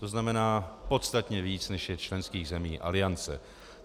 To znamená, podstatně víc, než je členských zemí Aliance.